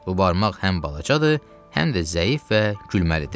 Bu barmaq həm balacadır, həm də zəif və gülməlidir.